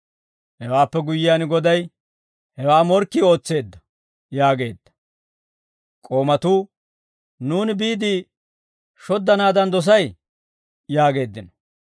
«Hewaappe guyyiyaan goday, ‹Hewaa morkkii ootseedda› yaageedda. K'oomatuu, ‹Nuuni biide shoddanaadan dosay?› yaageeddino.